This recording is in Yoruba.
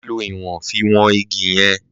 Màá ló ìwòn fi wọn igi yen